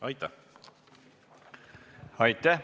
Aitäh!